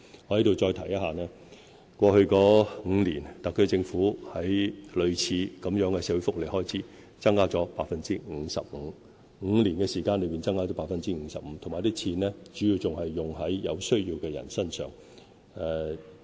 我在這裏再提一下，過去5年，特區政府在類似的社會福利開支增加了 55%， 是在5年間增加了 55%， 而且這些開支主要用於有需要的人身上。